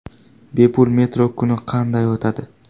Bepul metro kuni qanday o‘tadi?.